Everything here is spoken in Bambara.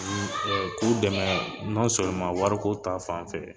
K'u k'u dɛmɛ wari ko ta fanfɛ.